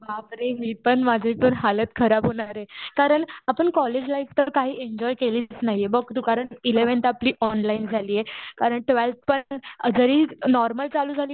बापरे. मी पण माझी पण हालत खराब होणार आहे. कारण आपण कॉलेज लाईफ तर काही एन्जॉय केलीच नाहीये. बघ तू कारण एलेव्हन्थ आपली ऑनलाईन झालीय. कारण ट्वेल्थ पण जरी नॉर्मल चालू झाली